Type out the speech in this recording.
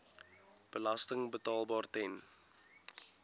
belasting betaalbaar ten